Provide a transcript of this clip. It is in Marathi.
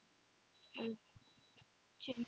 अह